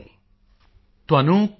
ਤੁਹਾਨੂੰ ਕਿਹੜੀ ਪੁਸਤਕ ਬਹੁਤ ਪਸੰਦ ਹੈ